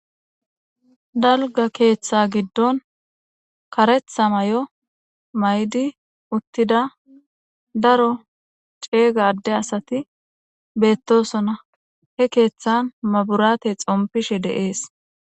Daliga keththa giddonni kareththa mayo mayidi uttida daro cega ade asati betosonna .hee keththanni maborateyi xonifishshe de'es.